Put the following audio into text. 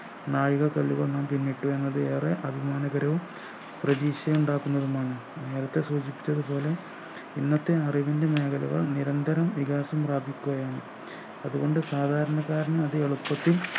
നാഴികക്കല്ലുകൾ നാം പിന്നിട്ടു എന്നത് ഏറെ അഭിമാനകരവും പ്രതീക്ഷ ഉണ്ടാക്കുന്നതുമാണ് നേരത്തെ സൂചിപ്പിച്ചതു പോലെ ഇന്നത്തെ അറിവിൻ്റെ മേഖലകൾ നിരന്തരം വികാസം പ്രാപിക്കുകയാണ് അതു കൊണ്ട് സാധാരണക്കാരന് അത് എളുപ്പത്തിൽ